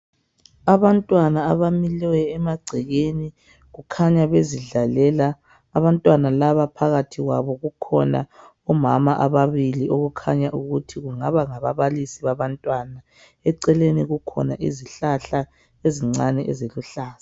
Abantwana abamileyo emagcekeni kukhanya bezidlalela. Abantwana laba phakathi kwabo kukhona omama ababili okukhanya ukuthi kungaba ngababalisi babantwana. Eceleni kukhona izihlahla ezincane eziluhlaza.